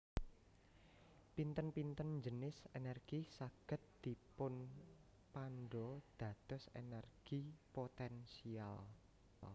Pinten pinten jinis energi saged dipunpandha dados energi potensial